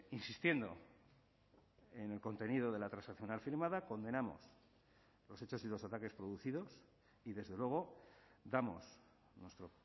insistiendo en el contenido de la transaccional firmada condenamos los hechos y los ataques producidos y desde luego damos nuestro